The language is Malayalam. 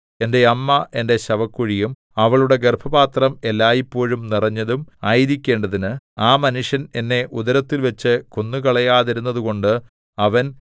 എന്റെ അമ്മ എന്റെ ശവക്കുഴിയും അവളുടെ ഗർഭപാത്രം എല്ലായ്പോഴും നിറഞ്ഞതും ആയിരിക്കേണ്ടതിന് ആ മനുഷ്യൻ എന്നെ ഉദരത്തിൽവച്ച് കൊന്നുകളയാതിരുന്നതുകൊണ്ട് അവൻ